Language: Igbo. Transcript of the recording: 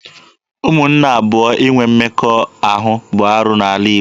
Ụmụnne abụọ inwe mmekọahụ bụ arụ n'ala Igbo.